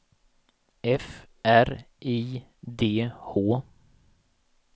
F R I D H